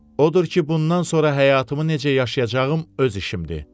Odur ki, bundan sonra həyatımı necə yaşayacağım öz işimdir.